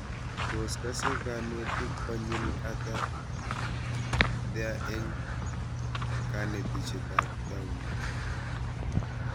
Tos kase kanetik konyil ata their eng' kanetishet ab taunet